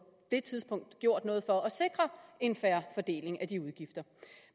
det tidspunkt gjort noget for at sikre en fair fordeling af de udgifter